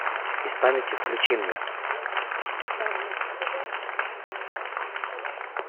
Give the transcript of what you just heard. без памяти включи мне